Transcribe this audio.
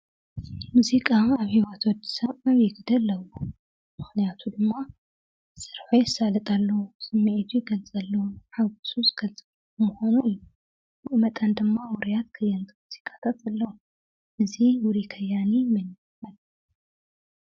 ሙዚቃ ኣብ ሂወት ወዲሰብ ሩኡይ ግደ ኣለዎ፡፡ ምኽንያቱ ድማ ስርሑ የሳልጠሉ፣ ስምዒቱ ይገልፀሉ፣ ሓጎሱ ዝገልፀሉ ብኡ መጠን ድማ ውሩያት ከየንቲ ሙዚቃ ኣለው፡፡ እዚ ውሩይ ከያኒ መን ይባሃል?